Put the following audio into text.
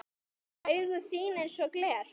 Og augu þín einsog gler.